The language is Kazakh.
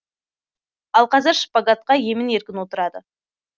ал қазір шпагатқа емін еркін отырады